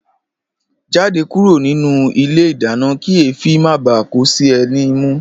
Jáde kúrò nínú ilé ìdáná kí èéfí má bàá kó sí ẹ ní imú!